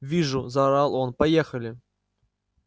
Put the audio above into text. вижу заорал он поехали